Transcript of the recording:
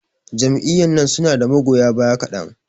Jam'iyyan nan su na da magoya baya kaɗan.